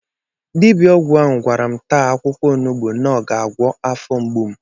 Dibia ọgwụ ahụ gwara m taa akwụkwọ onugbu na ọ ga-agwọ afọ mgbu m